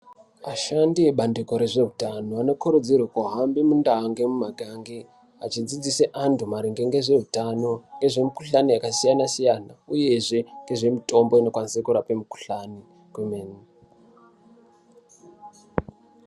Ashandi ebandiko rezvehutano anokurudzirwe kuhambe mundaa nemumakange achidzidzise antu maringe ngezvehutano. Ngezvemikuhlani yakasiyana-siyana uyezve ngezvemitombo inokwanise kurape mikuhlani kwemene.